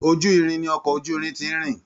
Ojúrin ní ọkọ ojúrin tí n rìn.